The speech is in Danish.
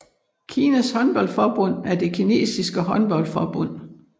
Kinas håndboldforbund er det kinesiske håndboldforbund